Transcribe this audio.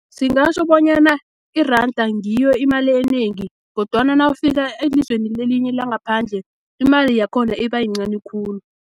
Singatjho bonyana, iranda ngiyo imali enengi, kodwana nawufika elizweni elinye langaphandle, imali yakhona ibayincani khulu.